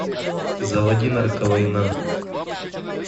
заводи нарковойна